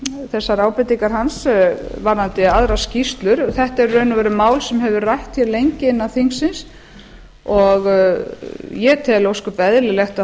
þessar ábendingar hans varðandi aðrar skýrslur þetta er í raun og veru mál sem hefur verið rætt hér lengi innan þingsins og ég tel ósköp eðlilegt að